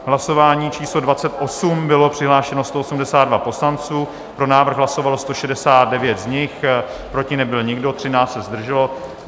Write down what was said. Hlasování číslo 28, bylo přihlášeno 182 poslanců, pro návrh hlasovalo 169 z nich, proti nebyl nikdo, 13 se zdrželo.